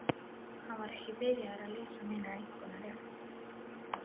Hann var ekki byrjaður að lesa mínar einkunnir upp.